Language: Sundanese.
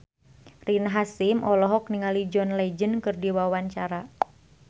Rina Hasyim olohok ningali John Legend keur diwawancara